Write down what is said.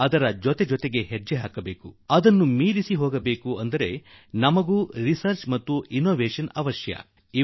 ನಾವು ಅದರೊಡನೆ ಹೆಜ್ಜೆ ಹಾಕಬೇಕಾದರೆ ಹಾಗೂ ಅದನ್ನು ಮೀರಿ ಹೋಗಬೇಕಾದರೆ ನಾವು ಸಂಶೋಧನೆ ಮತ್ತು ಅನ್ವೇಷಣೆಯಲ್ಲಿ ಸರಿಗಟ್ಟಬೇಕು